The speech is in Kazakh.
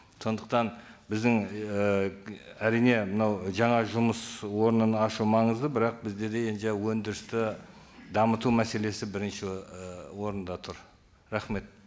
сондықтан біздің ііі әрине мынау жаңа жұмыс орнын ашу маңызды бірақ бізде де өндірісті дамыту мәселесі бірінші і орында тұр рахмет